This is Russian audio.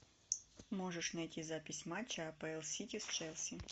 можешь найти запись матча апл сити с челси